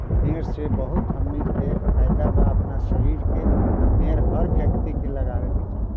इ पेड़ से हमनी के बहुत फायदा बा अपना शरीर के पेड़ हर व्यक्ति के लगावे के चाही।